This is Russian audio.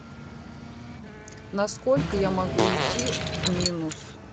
насколько я могу уйти в минус